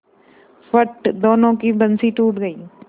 फट दोनों की बंसीे टूट गयीं